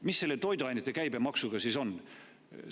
Mis selle toiduainete käibemaksuga siis on?